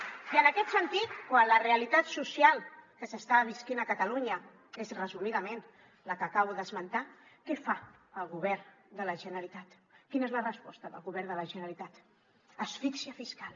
i en aquest sentit quan la realitat social que s’està vivint a catalunya és resumidament la que acabo d’esmentar què fa el govern de la generalitat quina és la resposta del govern de la generalitat asfíxia fiscal